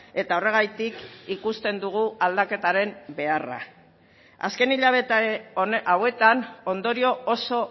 eta horregatik ikusten dugu aldaketaren beharra azken hilabete hauetan ondorio oso